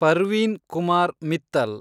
Parveen Kumar Mittal